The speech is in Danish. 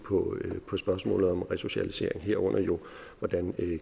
på spørgsmålet om resocialisering herunder jo hvordan